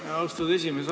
Aitäh, austatud esimees!